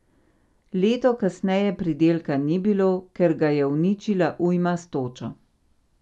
Leto kasneje pridelka ni bilo, ker ga je uničila ujma s točo.